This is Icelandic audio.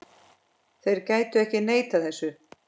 Þeir gætu ekki neitað þessu.